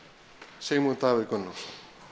Sigmund Davíð Gunnlaugsson